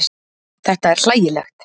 Þetta er hlægilegt.